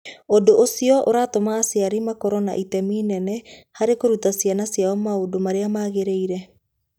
Ũndũ ũcio ũratũma aciari makorũo na itemi inene harĩ kũruta ciana ciao maũndũ marĩa magĩrĩire.